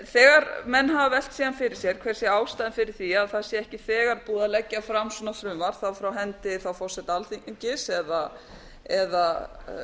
þegar menn gefa velt síðan fyrir sér fer sé ástæðan fyrir var að það ekki eiga búið að leggja fram svona frumvarp frá enda forseta alþingis eða